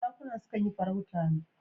Zakuna su kan yi farauta ne.